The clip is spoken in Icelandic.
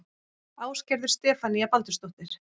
Ásgerður Stefanía Baldursdóttir